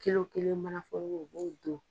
Cilo kelen mana foroko u b'o don